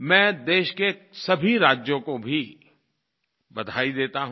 मैं देश के सभी राज्यों को भी बधाई देता हूँ